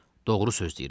Doğru söz deyirəm.